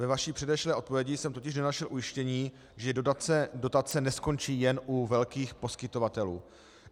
Ve vaší předešlé odpovědi jsem totiž nenašel ujištění, že dotace neskončí jen u velkých poskytovatelů.